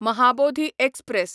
Mahabodhi express